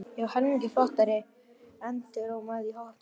Já, helmingi flottari, endurómaði í hópnum.